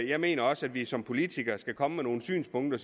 jeg mener også at vi som politikere skal komme med nogle synspunkter